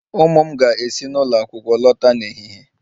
Ụmụ m ga-esi n'ụlọ akwụkwọ lọta n'ehihie